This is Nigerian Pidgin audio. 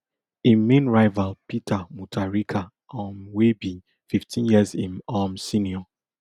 im main rival peter mutharika um wey be fifteen years im um senior